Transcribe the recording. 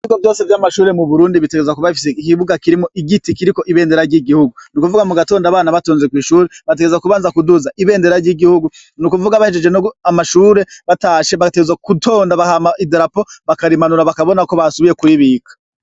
Ibigo vyose vy'amashure mu Burundi bitegerezwa kuba bifise ikibuga kirimwo igiti kiriko ibendera ry'igihugu, n'ukuvuga mu gutonda abana batonze kw'ishuri bagategereza kubanza kuduza ibendera ry'igihugu n’ukuvuga bahejeje amashure batashe bagategerezwa gutonda hama idrapo bakarimanura bakabona ko basubiye kuribika.